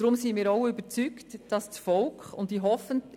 Deshalb sind wir auch überzeugt, dass das Volk entscheiden soll.